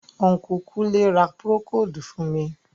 Unku Kunle ra procold fun mi.